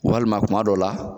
Walima kuma dɔ la